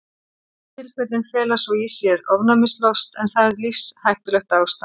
verstu tilfellin fela svo í sér ofnæmislost en það er lífshættulegt ástand